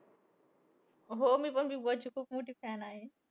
हो. मी पण बिगबॉसची खुप मोठी fan आहे.